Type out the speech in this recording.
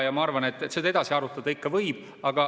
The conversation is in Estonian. Ja ma arvan, et seda edasi arutada ikka võib.